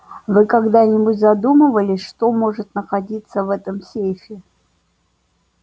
вы когда-нибудь задумывались что может находиться в этом сейфе